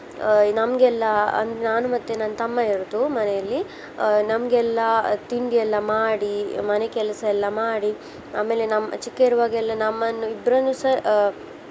ಆ ನಮ್ಗೆಲ್ಲಾ ಆ ನಾನು ಮತ್ತೆ ನನ್ನ್ ತಮ್ಮ ಇರುದು ಮನೆಯಲ್ಲಿ. ಆ ನಮ್ಗೆಲ್ಲಾ ತಿಂಡಿಯೆಲ್ಲಾ ಮಾಡಿ ಮನೆ ಕೆಲಸ ಎಲ್ಲ ಮಾಡಿ ಆಮೇಲೆ ನಮ್ಮ್ ಚಿಕ್ಕ ಇರುವಾಗ ಎಲ್ಲ ನಮ್ಮನ್ನು ಇಬ್ರನ್ನುಸ ಆ